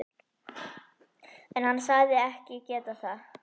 En hann sagðist ekki geta það.